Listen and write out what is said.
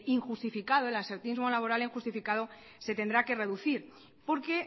injustificado el absentismo laboral injustificado se tendrá que reducir porque